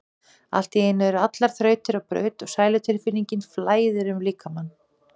Allt í einu eru allar þrautir á braut og sælutilfinning flæðir um líkamann.